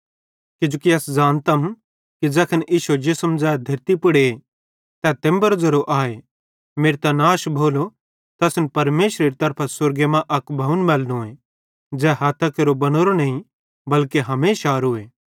किजोकि अस ज़ानतम कि ज़ैखन इश्शो जिसम ज़ै धेरतली पुड़े ते तेम्बेरो ज़ेरो आए मेरतां नाश भोलो त असन परमेशरेरी तरफां स्वर्गे मां अक भवन मैलनोए ज़ै हथ्थां केरो बनावरो नईं बल्के हमेशारोए